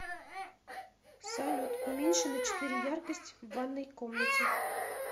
салют уменьши на четыре яркость в ванной комнате